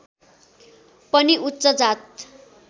पनि उच्च जात